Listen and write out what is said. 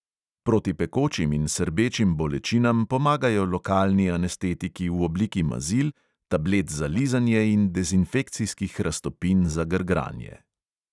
Proti pekočim in srbečim bolečinam pomagajo lokalni anestetiki v obliki mazil, tablet za lizanje in dezinfekcijskih raztopin za grgranje.